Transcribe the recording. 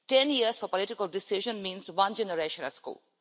Ten years for a political decision means one generation at school.